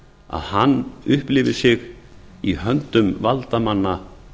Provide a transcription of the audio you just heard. að hann upplifi sig í höndum valdamanna